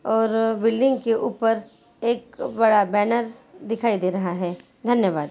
और बिल्डिंग के ऊपर एक बड़ा बैनर दिखाई दे रहा है धन्यवाद्।